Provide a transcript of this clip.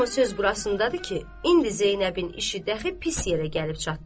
Amma söz burasındadır ki, indi Zeynəbin işi dəxi pis yerə gəlib çatdı.